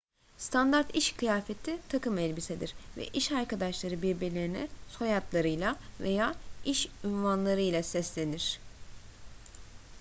standart iş kıyafeti takım elbisedir ve iş arkadaşları birbirlerine soyadlarıyla veya iş unvanlarıyla seslenir